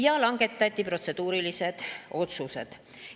Ja langetati protseduurilised otsused.